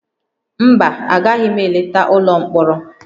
Mba, agaghị m eleta ụlọ mkpọrọ